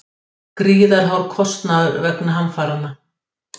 Gríðarhár kostnaður vegna hamfaranna